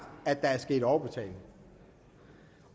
at der er sket overbetaling